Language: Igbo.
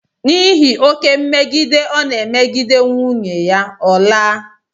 N'ihi oké mmegide ọ na-emegide nwunye ya, ọ laa.